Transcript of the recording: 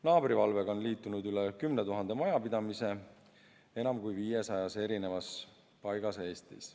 Naabrivalvega on liitunud üle 10 000 majapidamise enam kui 500 paigas Eestis.